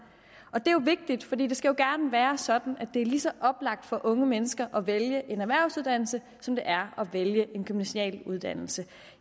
og det er jo vigtigt for det skal jo være sådan at det er lige så oplagt for unge mennesker at vælge en erhvervsuddannelse som det er at vælge en gymnasial uddannelse